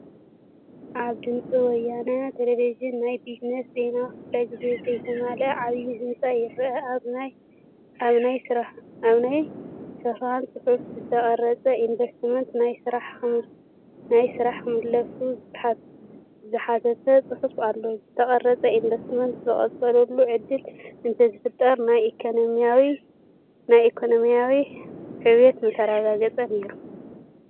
ኣብ ድምፂ ወያነ ቴሌብዥን ናይ ቢዝነስ ዜና ክፍለግዜ ዘይተመልአ ዓብዪ ህንፃ ይርአ፡፡ ኣብ ናይ ስክሪን ፅሑፍ ዝተቋረፁ ኢንቨስትመንታት ናብ ስራሕ ክምለሱ ዝሓትት ፅሑፍ ኣሎ፡፡ ዝተቋረፁ ኢንቨስትመንት ዝቕፅልሉ ዕድል እንተዝፍጠር ናይ ኢኮነሚ ሕውየትና ምተረጋገፀ ነይሩ፡፡